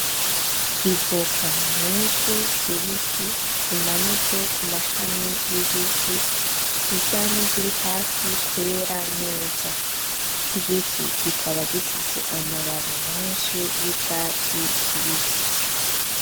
Ivoka nyinshi zibisi zimanitse ku mashami y'igiti zisa n'iziri hafi kwera neza. Igiti kikaba gifise amababi menshi y'icatsi kibisi.